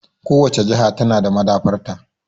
Kowace jiha ta na da maɗaba'arta.